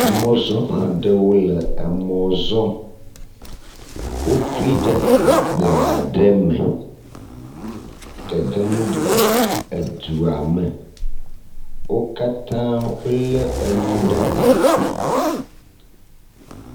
Emɔzɔlaɖewo le emɔzɔm wótuiɖe egbeaɖe me gegem ɖe edua me wókatã wóle enu ɖe asi